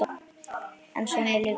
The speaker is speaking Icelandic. En svona er lífið.